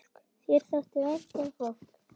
Þér þótti vænt um fólk.